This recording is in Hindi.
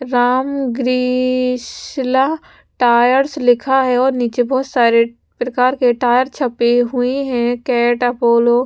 राम ग्रिसला टायर्स लिखा है और नीचे बहुत सारे प्रकार के टायर छपे हुए हैं कैट अपोलो ।